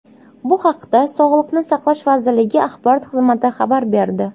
Bu haqda Sog‘liqni saqlash vazirligi axborot xizmati xabar berdi .